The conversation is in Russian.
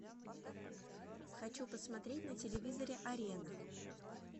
хочу посмотреть на телевизоре арена